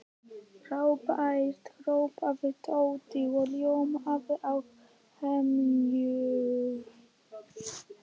Frábært hrópaði Tóti og ljómaði af hamingju.